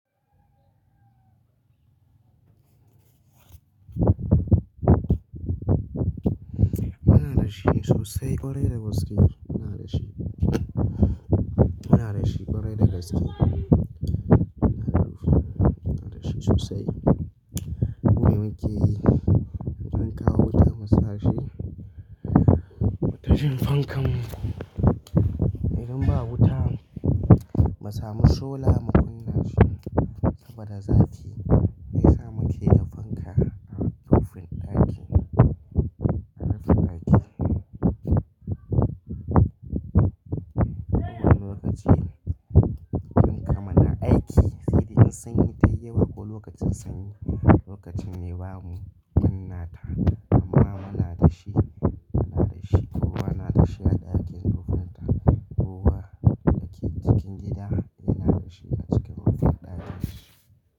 Muna da shi sosai ƙwarai da gaske. Muna da shi. Muna da shi ƙwarai da gaske. Muna da rufi, muna da shi sosai. Mu me muke yi, an kawo wuta mu sa shi, mu tashan fankan mu. Idan ba wuta, mu sami sola mu kunna shi saboda zafi. Shiyasa muke da fanka a rufin ɗaki. A rufin ɗaki. Kuwanilokacin fanka mu na aiki, sai dai in sanyi tayi yawa ko lokacin sanyi, lokacin mai bamu kunnata amma muna da shi, muna da shi. Kowa na da shi a ɗakin rufinta. Kowa da ke cikin gida yana da shi a cikin rufin ɗakin shi.